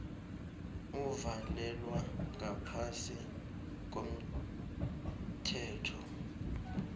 uvalelwa ngaphasi komthetho